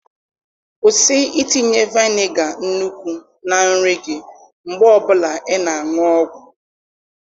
Kwụsị itinye vaịnga nnukwu na nri gị mgbe ọ bụla ị na-aṅụ ọgwụ.